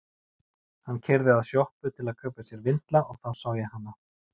Hann keyrði að sjoppu til að kaupa sér vindla og þá sá ég hana.